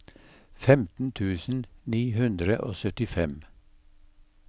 femten tusen ni hundre og syttifem